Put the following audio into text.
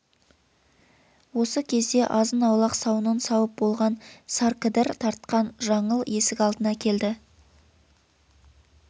осы кезде азын-аулақ сауынын сауып болған саркідір тартқан жаңыл есік алдына келді